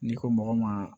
N'i ko mɔgɔ ma